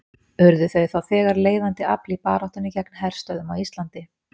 Urðu þau þá þegar leiðandi afl í baráttunni gegn herstöðvum á Íslandi.